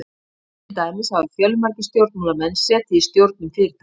til dæmis hafa fjölmargir stjórnmálamenn setið í stjórnum fyrirtækja